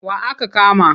Wa aka kama?